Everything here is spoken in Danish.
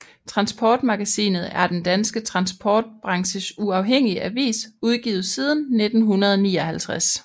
Transportmagasinet er den danske transportbranches uafhængige avis udgivet siden 1959